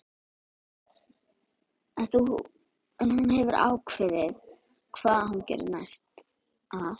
En hefur hún ákveðið hvað hún gerir næsta sumar?